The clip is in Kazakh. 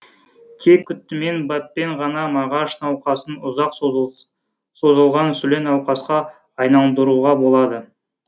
тек күтіммен баппен ғана мағаш науқасын ұзақ созылған сүле науқасқа айналдыруға болады